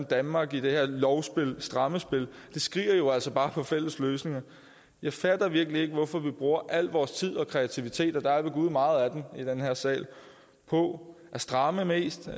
danmark i det her lovspil det strammerspil skriger jo altså bare på fælles løsninger jeg fatter virkelig ikke hvorfor vi bruger al vores tid og kreativitet og der er ved gud meget af den i den her sal på at stramme mest